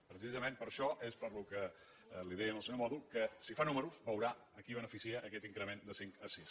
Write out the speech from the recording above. precisament per això és pel que li deia al senyor mòdol que si fa números veurà a qui beneficia aquest increment de cinc a sis